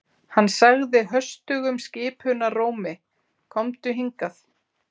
Hann sagði höstugum skipunarrómi: Komdu hingað.